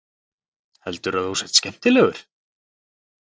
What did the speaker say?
Heldurðu að þú sért skemmtilegur?